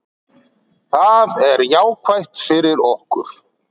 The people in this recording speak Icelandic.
Það er jákvætt fyrir okkur.